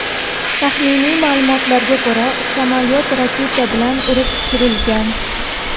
Taxminiy ma’lumotlarga ko‘ra, samolyot raketa bilan urib tushirilgan.